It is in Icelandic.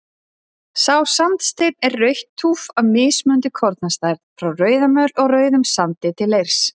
Sá sandsteinn er rautt túff af mismunandi kornastærð, frá rauðamöl og rauðum sandi til leirs.